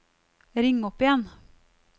ring opp igjen